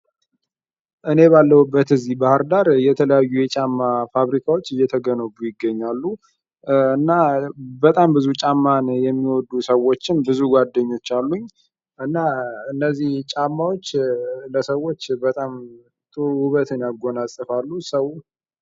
እኔ ባለሁበት እዚህ ባህርዳር የተለያዩ የጫማ ፋብሪካዎች እየተገነቡ ይገኛሉ። በጣም ብዙ ጫማን የሚወዱ ሰዎችም ብዙ ጓደኞች አሉኝ እነዚህ ጫማዎች ለሰዎች ጥሩ በጣም ውበትን ያጎናፀፋሉ ሰው